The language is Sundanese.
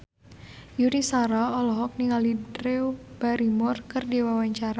Yuni Shara olohok ningali Drew Barrymore keur diwawancara